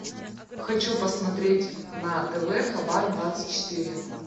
хочу посмотреть на тв хабар двадцать четыре